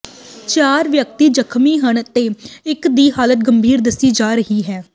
ਚਾਰ ਵਿਅਕਤੀ ਜ਼ਖ਼ਮੀ ਹਨ ਤੇ ਇੱਕ ਦੀ ਹਾਲਤ ਗੰਭੀਰ ਦੱਸੀ ਜਾ ਰਹੀ ਹੈ